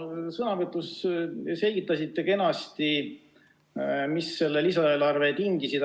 Te oma sõnavõtus selgitasite kenasti, mis selle lisaeelarve tingisid.